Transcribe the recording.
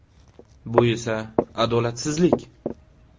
Bu esa adolatsizlik.